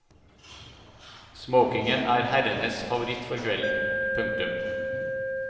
Smokingen er herrenes favoritt for kvelden. punktum